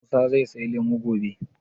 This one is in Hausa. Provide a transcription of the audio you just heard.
Musa zai saya lemu gobe?